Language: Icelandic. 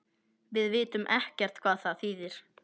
Við vitum ekkert hvað það þýðir